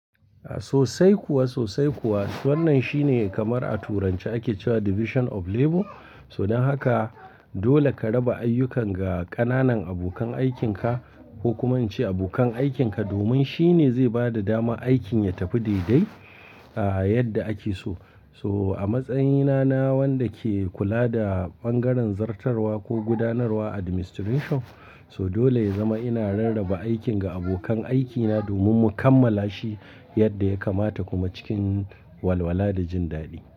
Sosai kuwa, sosai kuwa. Wannan shine kamar a turanci ake cewa division of labor. Don haka dole ka raba ayyukan ga ƙananan abokan aikinka ko kuma in ce abokan aikinka domin shi ne zai ba da dama aikin ya tafi daidai yadda ake so. So a matsayina na wanda ke kula da ɓangaren zartarwa ko gudanarwa administration, so dole ya zama ina rarraba aikin ga abokan aikina domin mu kammala shi yadda ya kamata kuma cikin walwala da jin daɗi.